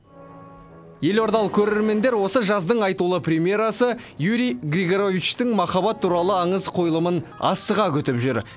елордалық көрермендер осы жаздың айтулы премьерасы юрий григоровичтің махаббат туралы аңыз қойылымын асыға күтіп жүр